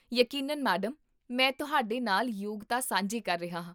ਯਕੀਨਨ, ਮੈਡਮ! ਮੈਂ ਤੁਹਾਡੇ ਨਾਲ ਯੋਗਤਾ ਸਾਂਝੀ ਕਰ ਰਿਹਾ ਹਾਂ